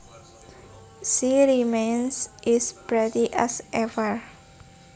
She remains is pretty as ever